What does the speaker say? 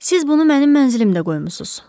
Siz bunu mənim mənzilimdə qoymusuz.